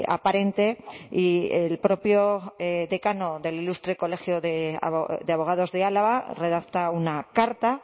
aparente y el propio decano del ilustre colegio de abogados de álava redacta una carta